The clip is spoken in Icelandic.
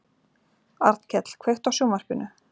Arnkell, kveiktu á sjónvarpinu.